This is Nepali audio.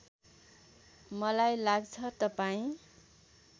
मलाई लाग्छ तपाईँ